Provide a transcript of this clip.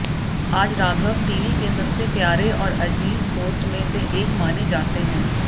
आज राघव टीवी के सबसे प्यारे और अजीज़ होस्ट में से एक माने जाते हैं